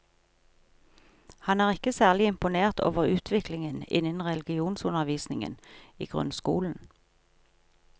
Han er ikke særlig imponert over utviklingen innen religionsundervisningen i grunnskolen.